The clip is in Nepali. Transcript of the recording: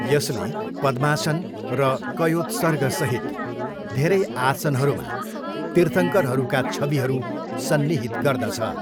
यसले पद्मासन र कयोत्सर्गसहित धेरै आसनहरूमा तीर्थङ्करहरूका छविहरू सन्निहित गर्दछ।